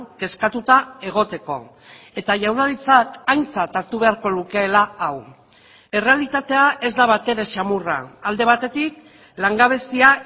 kezkatuta egoteko eta jaurlaritzak aintzat hartu beharko lukeela hau errealitatea ez da batere xamurra alde batetik langabezia